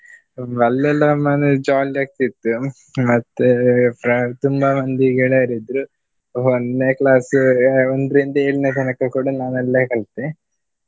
ಅಲ್ಲೆಲ್ಲಾ ಮನೆ jolly ಆಗ್ತಿತ್ತು ಮತ್ತೆ fri~ ತುಂಬಾ ಮಂದಿ ಗಳೆಯರಿದ್ರು. ಒನ್ನೆ class ಒಂದ್ರಿಂದ ಏಳನೇ ತನಕ ಕೂಡ ನಾನು ಅಲ್ಲೇ ಕಲ್ತೆ.